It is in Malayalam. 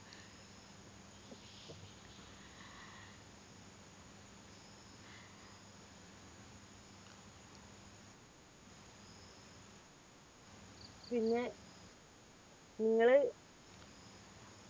പിന്നെ നിങ്ങൾ